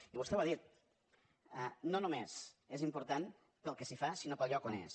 i vostè ho ha dit no només és important pel que s’hi fa sinó pel lloc on és